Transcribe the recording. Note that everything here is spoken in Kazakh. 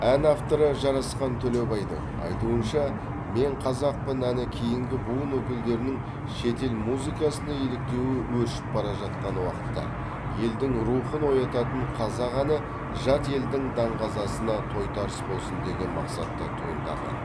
ән авторы жарасқан төлебайдың айтуынша мен қазақпын әні кейінгі буын өкілдерінің шетел музыкасына еліктеуі өршіп бара жатқан уақытта елдің рухын оятатын қазақ әні жат елдің даңғазасына тойтарыс болсын деген мақсатта туындаған